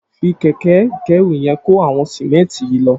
Fi kẹkẹ ikẹ̀rú yèn kó awọn sìmẹ̀ntí yi lọ